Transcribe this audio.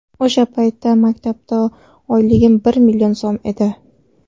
O‘sha paytda maktabda oyligim bir million so‘m edi.